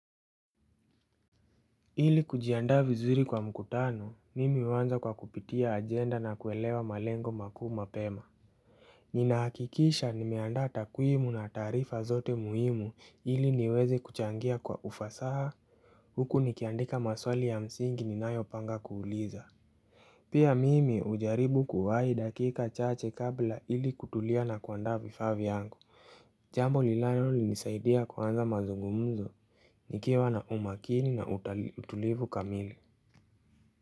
Ili kujiandaa vizuri kwa mkutano mimi huanza kwa kupitia ajenda na kuelewa malengo makuu mapema Ninahakikisha nimeandaa takwimu na taarifa zote muhimu ili niweze kuchangia kwa ufasaha huku nikiandika maswali ya msingi ninayopanga kuuliza Pia mimi hujaribu kuwahi dakika chache kabla ili kutulia na kuandaa vifaa vyangu Jambo linalonisaidia kuanza mazungumzo nikiwa na umakini na utulivu kamili.